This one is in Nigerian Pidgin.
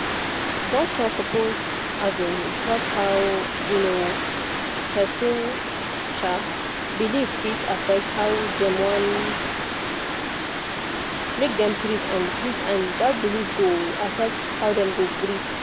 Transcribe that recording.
doctor suppose um talk how um person um belief fit affect how dem want make dem treat and treat and that belief go affect how dem go gree